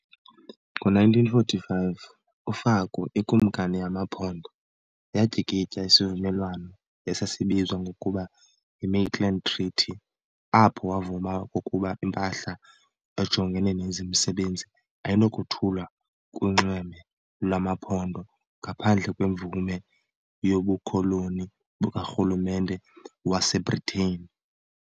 Ngo-1945 uFaku, ikumkani yamaMpondo, yatyikitya isivumelwano esasibizwa ngokuba yi-"Maitland Treaty" apho wavuma okokuba impahla ejongene nezemisebenzi ayinakothulwa kunxweme lwamaMpondo ngaphandle kwemvume yobukoloni bukaRhulumente waseBritane.